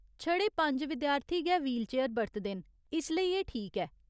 छड़े पंज विद्यार्थी गै व्हीलचेयर बरतदे न, इसलेई एह् ठीक ऐ।